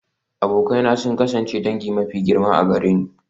Abokai na sun kasance dangi mafi girma a gare ni.